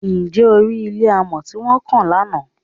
Ṣé o rí ilé amọ̀ tí wọ́n kàn lánàá?